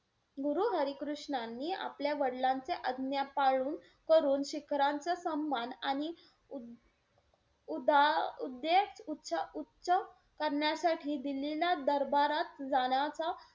गुरु हरी कृष्णांनी आपल्या वडिलांचा आज्ञा पाळून करून शिखरांचा सम्म्मान आणि उदा उदा~ उद्देश उच्च-उच्च करण्यासाठी दिल्लीला दरबारात जाण्याचा,